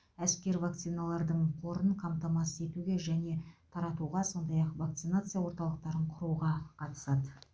әскер вакциналардың қорын қамтамасыз етуге және таратуға сондай ақ вакцинация орталықтарын құруға қатысады